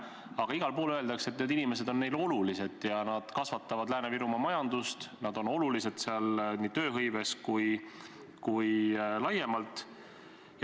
Aga igal pool öeldakse, et need inimesed on neile olulised ja nad kasvatavad Lääne-Virumaa majandust, nad on olulised seal nii tööhõives kui laiemalt.